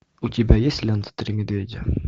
у тебя есть лента три медведя